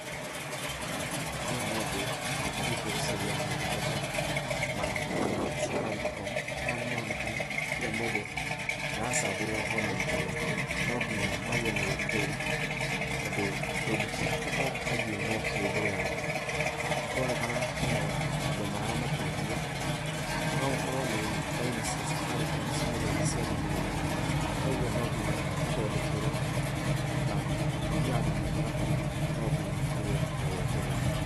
Aya nĩ andũ, mathiĩte gũcaria motungata, ma raini ya Safaricom, haha nĩ maronekana kila mũndũ aracavĩrwo ona rita rĩake, nonginya magĩe na wetereri, tondũ ndũngĩkĩhatũka angĩ mokire mbere yaku, nĩ kũronekana hena andũ maramateithia, no ũkorwo nĩ raini cia Safaricom ciĩna thina cia thimu ao, toguo nonginya mathondekerwo na mũthiaga na mũtaratara, nonginya kũgĩe na wetereri.